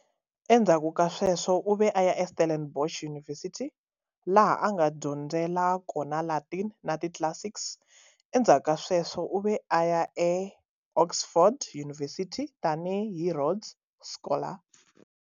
Endzhaku ka sweswo, u ve a ya eStellenbosch University, laha a nga dyondzela kona Latin na ti-classics. Endzhaku ka sweswo, u ve a ya eOxford University tani hi Rhodes Scholar.